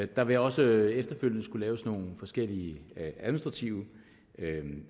der vil også efterfølgende skulle laves nogle forskellige administrative